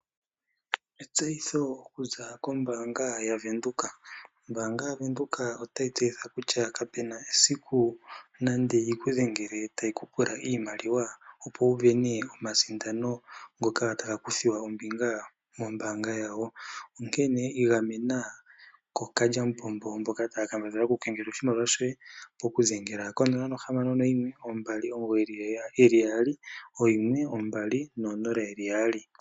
Etseyitho okuza kombanga ya venduka. Obank Windhoek otayi tseyithile kutya kapena esiku nande yi kudhengele tayiku pula iimaliwa opo wu vene omasindano ngoka taga kuthiwa ombinga moombanga yawo , ihe igamena ko kalyamupombo mboka taya kambadhala okuku kengelela oshimali shoye ,poku dhengela ko 0612991200.